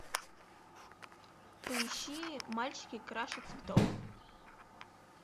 поищи мальчики краше цветов